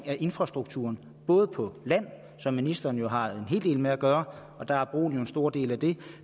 at infrastrukturen både på land som ministeren jo har en hel del med at gøre og der er broen jo en stor del af det